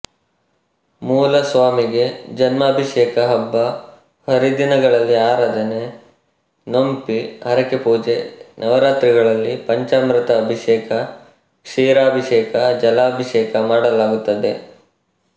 ಮೂಲ ಸ್ವಾಮಿಗೆ ಜನ್ಮಾಭಿಷೇಕ ಹಬ್ಬ ಹರಿದಿನಗಳಲ್ಲಿ ಆರಾಧನೆ ನೋಂಪಿ ಹರಕೆ ಪೂಜೆ ನವರಾತ್ರಿಗಳಲ್ಲಿ ಪಂಚಾಮೃತ ಅಭಿಷೇಕ ಕ್ಷೀರಾಭಿಷೇಕ ಜಲಾಭಿಷೇಕ ಮಾಡಲಾಗುತ್ತದೆ